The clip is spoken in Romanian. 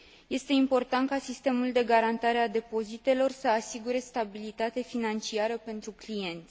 Este important ca sistemul de garantare a depozitelor să asigure stabilitate financiară pentru clienți.